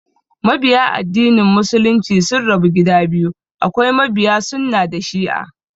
Mabiya addinin Muslunci sun rabu gida biyu, akwai mabiya sunnah da shi'a